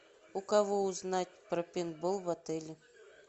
у кого узнать про пейнтбол в отеле